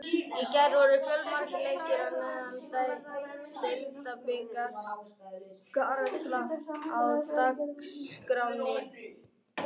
Í gær voru fjölmargir leikir í neðri deild Deildabikars karla á dagskránni.